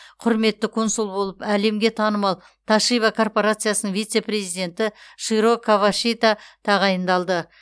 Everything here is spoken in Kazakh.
құрметті консул болып әлемге танымал тошиба корпорациясының вице президенті широ кавашита тағайындалды